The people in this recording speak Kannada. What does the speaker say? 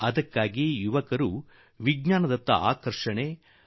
ಆದುದರಿಂದ ಹೊಸ ಪೀಳಿಗೆಯಲ್ಲಿ ವಿಜ್ಞಾನ ಕುರಿತು ಆಕರ್ಷಣೆ ಅಗತ್ಯ